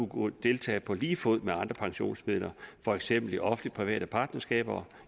kunne deltage på lige fod med andre pensionskasser for eksempel i offentlig private partnerskaber